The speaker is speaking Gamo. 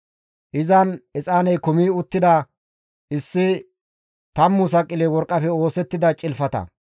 Izan exaaney kumi uttida issi tammu saqile worqqafe oosettida cilfata,